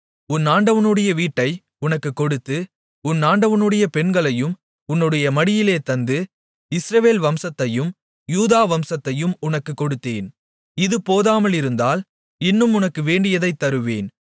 உன் ஆண்டவனுடைய வீட்டை உனக்குக் கொடுத்து உன் ஆண்டவனுடைய பெண்களையும் உன்னுடைய மடியிலே தந்து இஸ்ரவேல் வம்சத்தையும் யூதா வம்சத்தையும் உனக்குக் கொடுத்தேன் இது போதாமலிருந்தால் இன்னும் உனக்கு வேண்டியதைத் தருவேன்